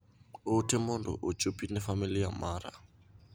Ote mondo ochopi ne famili mara.